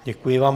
Děkuji vám.